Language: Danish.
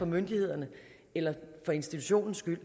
myndighedernes eller for institutionens skyld